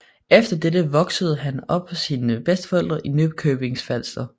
Efter dette voksede han op hos sine bedsteforældre i Nykøbing Falster